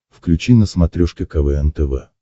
включи на смотрешке квн тв